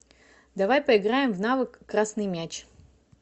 давай поиграем в навык красный мяч